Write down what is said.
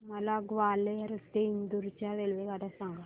मला ग्वाल्हेर ते इंदूर च्या रेल्वेगाड्या सांगा